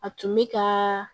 A tun bɛ ka